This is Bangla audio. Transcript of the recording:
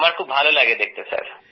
হ্যাঁ ভালো লাগে দেখতে